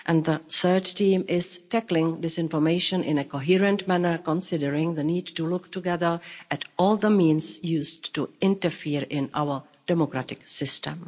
and the third theme is tackling disinformation in a coherent manner considering the need to look together at all the means used to interfere in our democratic system.